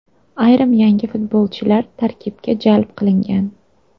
Ayrim yangi futbolchilar tarkibga jalb qilingan.